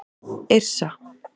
Yrsa